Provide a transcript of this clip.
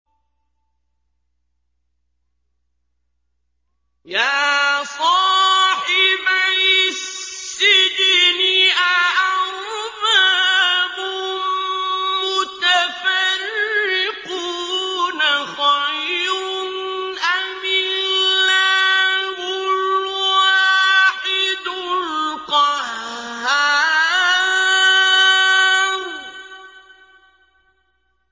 يَا صَاحِبَيِ السِّجْنِ أَأَرْبَابٌ مُّتَفَرِّقُونَ خَيْرٌ أَمِ اللَّهُ الْوَاحِدُ الْقَهَّارُ